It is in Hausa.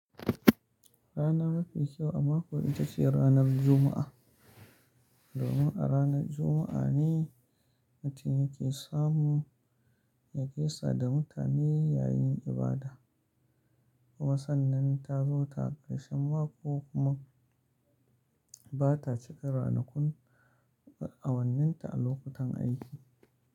Rana mafi kyau a mako ita ce ranar Juma'a, domin a ranar Juma'a ne mutum ya ke samu ya gaisa da mutane yayin ibada. Kuma sannan ta zo ta karshen mako kuma ba ta cika ranakun awanninta a lokutan aiki.